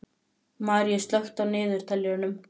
Maríus, slökktu á niðurteljaranum.